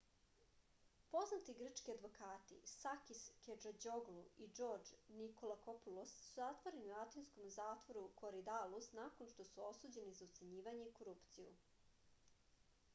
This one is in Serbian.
poznati grčki advokati sakis kečađoglu i džordž nikolakopulos su zatvoreni u atinskom zatvoru koridalus nakon što su osuđeni za ucenjivanje i korupciju